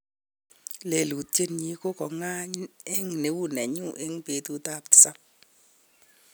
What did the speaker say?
lelutient nyi ko kogayn en neuneknyu en petut ap tisap.